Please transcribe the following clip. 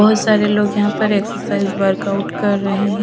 बहुत सारे लोग यहां पर एक्सरसाइज वर्क आउट कर रहे हैं।